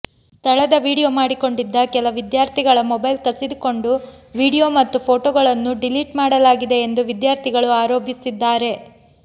ಸ್ಥಳದ ವಿಡಿಯೋ ಮಾಡಿಕೊಂಡಿದ್ದ ಕೆಲ ವಿದ್ಯಾರ್ಥಿಗಳ ಮೊಬೈಲ್ ಕಸಿದುಕೊಂಡು ವಿಡಿಯೋ ಮತ್ತು ಫೋಟೋಗಳನ್ನು ಡಿಲೀಟ್ ಮಾಡಲಾಗಿದೆ ಎಂದು ವಿದ್ಯಾರ್ಥಿಗಳು ಆರೋಪಿಸಿದ್ದಾರೆ